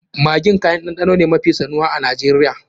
Maggi kayan ɗanɗano ne mafi sanuwa a Najeriya.